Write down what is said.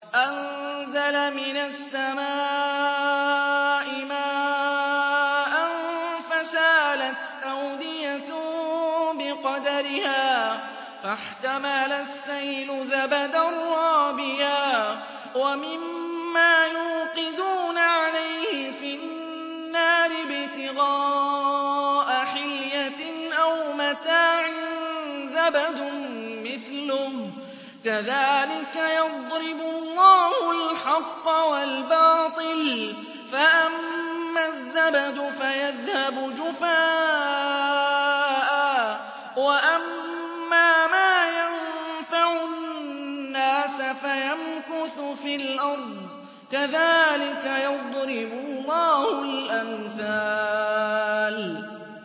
أَنزَلَ مِنَ السَّمَاءِ مَاءً فَسَالَتْ أَوْدِيَةٌ بِقَدَرِهَا فَاحْتَمَلَ السَّيْلُ زَبَدًا رَّابِيًا ۚ وَمِمَّا يُوقِدُونَ عَلَيْهِ فِي النَّارِ ابْتِغَاءَ حِلْيَةٍ أَوْ مَتَاعٍ زَبَدٌ مِّثْلُهُ ۚ كَذَٰلِكَ يَضْرِبُ اللَّهُ الْحَقَّ وَالْبَاطِلَ ۚ فَأَمَّا الزَّبَدُ فَيَذْهَبُ جُفَاءً ۖ وَأَمَّا مَا يَنفَعُ النَّاسَ فَيَمْكُثُ فِي الْأَرْضِ ۚ كَذَٰلِكَ يَضْرِبُ اللَّهُ الْأَمْثَالَ